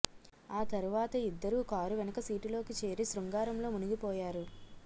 ఆ తరువాత ఇద్దరూ కారు వెనుక సీటులోకి చేరి శృంగారంలో మునిగిపోయారు